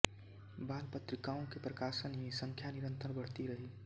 बाल पत्रिकाओं के प्रकाशन ही संख्या निरन्तर बढ़ती रही